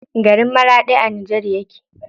Garin Maraɗi a Nijar yake.